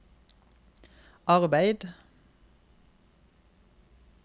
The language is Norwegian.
arbeid